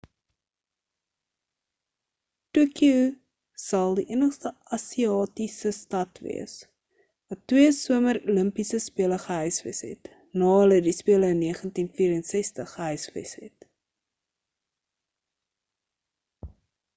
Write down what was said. tokyo sal die enigste asiatiese stad wees wat twee somer olimpiese spele gehuisves het na hulle die spele in 1964 gehuisves het